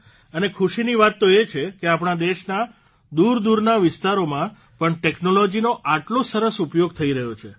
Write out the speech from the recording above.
અને ખુશીની વાત એ છે કે આપણા દેશના દૂરદૂરના વિસ્તારમાં પણ ટેકનોલોજીનો આટલો સરસ ઉપયોગ થઇ રહ્યો છે